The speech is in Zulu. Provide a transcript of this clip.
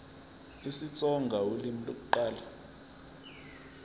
isitsonga ulimi lokuqala